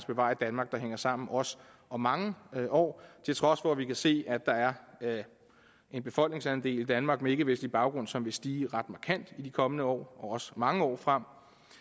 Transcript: bevare et danmark der hænger sammen også om mange år til trods for at vi kan se at der er en befolkningsandel i danmark med ikkevestlig baggrund som vil stige ret markant i de kommende år og også mange år frem